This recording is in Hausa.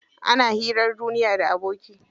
Ana hirar duniya da aboki.